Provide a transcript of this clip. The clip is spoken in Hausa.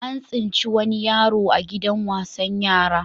An tsinci wani yaroa gidan wasan yara.